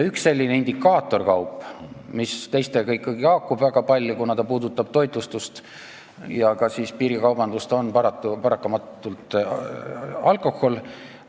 Üks selliseid indikaatorkaupu, mis teistega ikkagi väga palju haakub, kuna ta puudutab toitlustust ja ka piirikaubandust, on paratamatult alkohol.